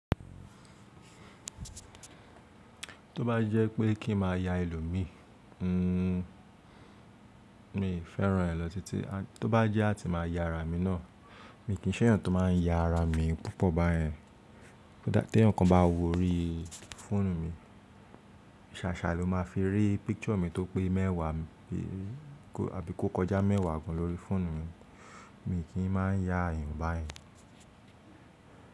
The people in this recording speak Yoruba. Tó bá jẹ́ pé kí n má ya ẹlòmí, ǹ mì féràn rẹ̀ lọ títí. Tó bá jẹ́ á ti má ya ara mi náà, mi kì í ṣe yàn tó má n ya ara mi púpọ̀ bá yẹ̀n. Tí ẹnìkan bá wo orí fóònù mi, ṣàṣà ló ma fi rí picture mi tó pé mẹ́wàá bí àbí kó kọjá mẹ́wàá gan lórí fóònù mi. Mi kì í má n ya ẹ̀yàn bá ẹ̀.